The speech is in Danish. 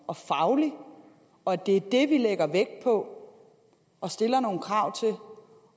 og faglig og at det er det vi lægger vægt på og stiller nogle krav krav